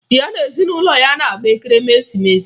Ya na ezinụlọ ya na-agba Ekeresimeesi